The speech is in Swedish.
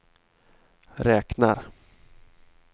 räknar